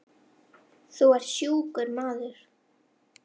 Þú ert sjúkur maður.